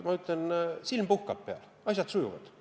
Ma ütlen, silm puhkab, asjad sujuvad.